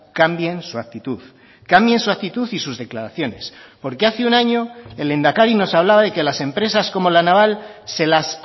cambien su actitud cambien su actitud y sus declaraciones porque hace un año el lehendakari nos hablaba de que las empresas como la naval se las